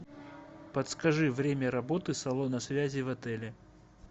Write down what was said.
подскажи время работы салона связи в отеле